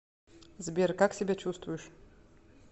сбер как себя чувствуешь